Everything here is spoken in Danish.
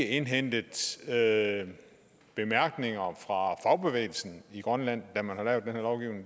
indhentet bemærkninger fra fagbevægelsen i grønland da man har lavet